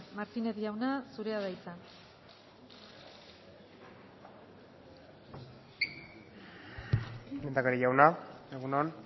martínez jauna zurea da hitza lehendakari jauna egun on